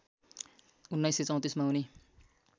१९३४ मा उनी